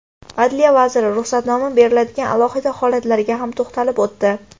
Adliya vaziri, ruxsatnoma beriladigan alohida holatlarga ham to‘xtalib o‘tdi.